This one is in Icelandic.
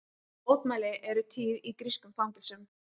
Mótmæli eru tíð í grískum fangelsum